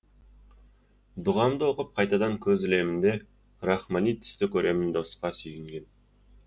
дұғамды оқып қайтадан көз ілемін де рахмани түсті көремін досқа сүйінген